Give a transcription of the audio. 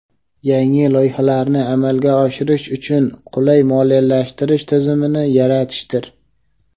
yangi loyihalarni amalga oshirish uchun qulay moliyalashtirish tizimini yaratishdir.